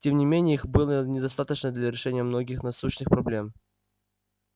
тем не менее их было недостаточно для решения многих насущных проблем